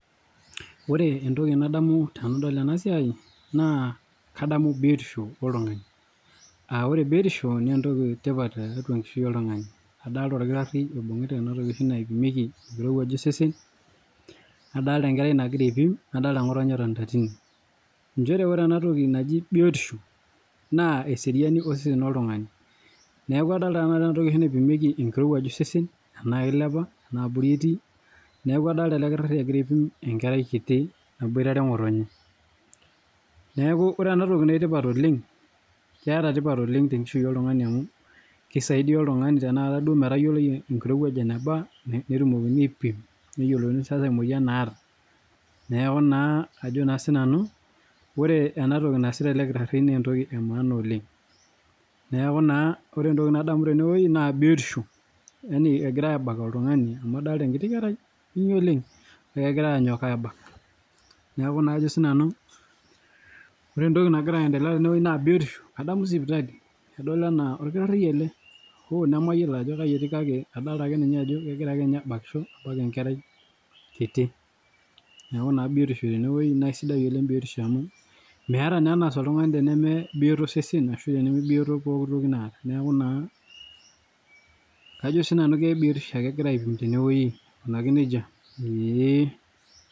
Ore entoki nadamu tenadol ena siai, na kadamu biotisho oltungani aa ore biotisho, na entoki etipat tiatua enkishui oltungani, adolta olkitari obungita ena toki oshi naipimieki enkirowuaj osesen, nadolta enkerai nangira apim, nadolta ngotonye etonita tine, njere ore ena toki naji biotisho na eseriani osesen oltungani niaku adolta ena toki oshi naipimieki engirowuaj osesen tena kilepa ena abori eti niaku adolta ele kitari engira aipim enkerai kiti naboitare engotonye, niaku ore ena toki na keeta tipat oleng tiatua enkishui oltungani, amu kisaidia oltungani tenaata duo amu kisaidia oltungani metayiolouni enkirowuaj enaba, netumokini aipim, neyiolouni sasa emoyian naata, niaku naa kajo na sinanu ore entoki nasita ele kitari na entoki emaana oleng, niaku ore entoki nadamu tene na biotisho, yani engirai abak oltungani, mu adolta enkiti kerai, kinyi oleng kengiarae anyok abak, niaku ajo na sinanu, ore entoki nangira aendelea tene, na biotisho adamu sipitali, adol ena okitari ele hoo naji nemayiolo, ajo kaji eti kake kadolta ajo kengira abakisho abak enkerai kiti, niaku biotisho tene weuji, na isidai oleng biotisho amu meeta na enas oltungani teneme bioto osesen ashu tenebioto pooki toki naata, niaku kajo na sinanu ke biotisho engirae aipim tene weuji niaku naa ee.